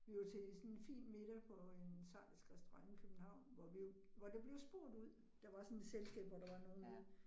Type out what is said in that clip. Vi var til sådan en fin middag på en schweizisk i København, hvor vi, hvor der blev spurgt ud, der var sådan et selskab, hvor der var nogle ude